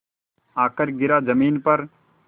आकर गिरा ज़मीन पर